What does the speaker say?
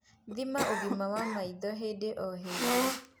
Thima ũgima wa maitho hĩndĩ o hĩndĩ